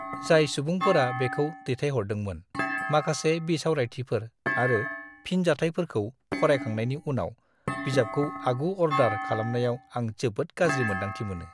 जाय सुबुंफोरा बेखौ दैथायहरदोंमोन माखासे बिसावरायथिफोर आरो फिनजाथायफोरखौ फरायखांनायनि उनाव बिजाबखौ आगु-अर्डार खालामनायाव आं जोबोद गाज्रि मोन्दांथि मोनो।